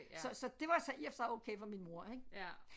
Så så det var så i og for sig okay for min mor ik